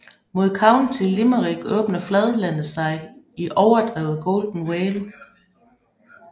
Mod County Limerick åbner fladlandet sig i overdrevet Golden Vale